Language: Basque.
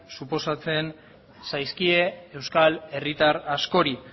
suposatzen zaizkie euskal herritar askori